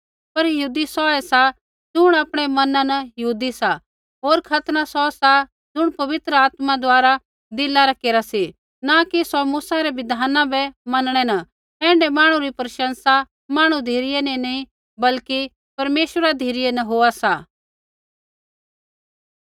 पर यहूदी सौऐ सा ज़ुण आपणै मना न यहूदी सा होर खतना सौ सा ज़ुण पवित्र आत्मा द्वारा दिला रा केरा सी न कि सौ मूसा रै बिधाना बै मनणै न ऐण्ढै मांहणु री प्रशंसा मांहणु धिरै न नी बल्कि परमेश्वरा धिरै न होआ सा